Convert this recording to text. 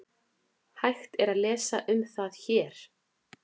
Hægt er að lesa um það HÉR.